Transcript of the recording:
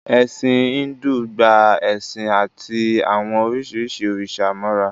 Ẹ̀sìn Íńdù gba ẹ̀san àti àwọn oríṣiríṣi òrìṣà mọ́ra